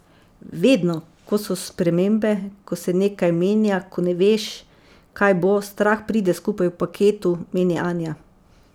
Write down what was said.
Vedno, ko so spremembe, ko se nekaj menja, ko ne veš, kaj bo, strah pride skupaj v paketu, meni Anja.